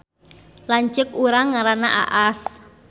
Lanceuk urang ngaranna Aas